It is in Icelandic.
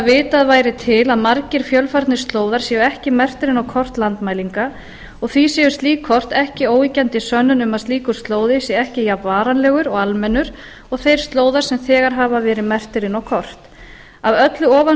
vitað væri til að margir fjölfarnir slóðar séu ekki merktir inn á kort landmælinga og því séu slík kort ekki óyggjandi sönnun um að slíkur slóði sé ekki jafn varanlegur og almennur og þeir slóðar sem þegar hafa verið merktir inn á kort af öllu ofan